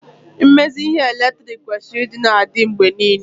mmezi ihe eletriki kwesịrị ịdị na-adị mgbe niile